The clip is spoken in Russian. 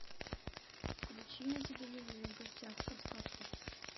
включи на телевизоре в гостях у сказки